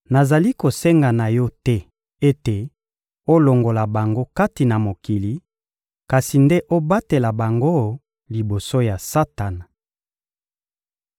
Nazali kosenga na Yo te ete olongola bango kati na mokili, kasi nde obatela bango liboso ya Satana.